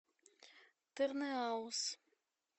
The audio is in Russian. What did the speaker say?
тырныауз